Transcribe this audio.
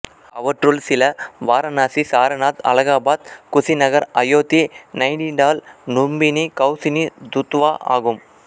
அவற்றுள் சில வாரணாசி சாரநாத் அலகாபாத் குசிநகர் அயோத்தி நைநிடால் லும்பினி கவுசினி துத்வா ஆகும்